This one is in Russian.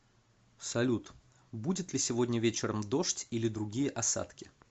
салют будет ли сегодня вечером дождь или другие осадки